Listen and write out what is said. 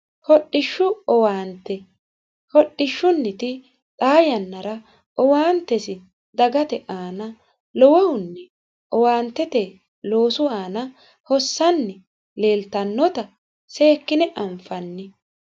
hodhishshu owaante hodhishshunniti xaa yannara owaantesi dagate aana lowohunni owaantete loosu aana hossanni leeltannota seekkine anfanni